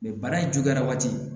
bana in juguyara waati